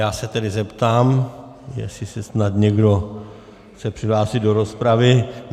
Já se tedy zeptám, jestli se snad někdo chce přihlásit do rozpravy.